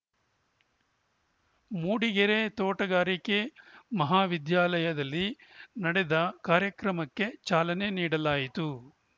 ಮೂಡಿಗೆರೆ ತೋಟಗಾರಿಕೆ ಮಹಾವಿದ್ಯಾಲಯದಲ್ಲಿ ನಡೆದ ಕಾರ್ಯಕ್ರಮಕ್ಕೆ ಚಾಲನೆ ನೀಡಲಾಯಿತು